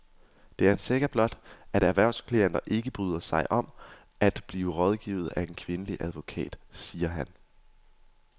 Det er en saga blot, at erhvervsklienter ikke bryder sig om at blive rådgivet af en kvindelig advokat, siger han.